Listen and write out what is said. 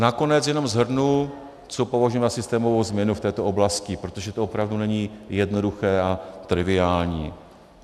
Nakonec jenom shrnu, co považujeme za systémovou změnu v této oblasti, protože to opravdu není jednoduché a triviální.